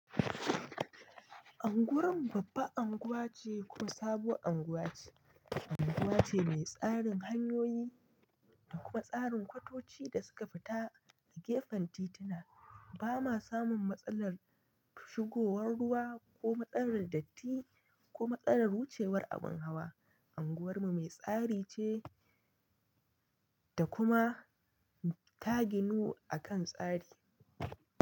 Anguwarin babba anguwa ce kuma sabuwar anguwa ce. Anguwa ce mai tsarin hanyoyi da kuma tsarin kwatoci da suka fita da gefen tituna. Ba ma samun matsalar shigowar ruwa ko matsalar datti ko matsalar wucewar abin hawa. Anguwarmu mai tsari ce da kuma ta ginu akan tsari.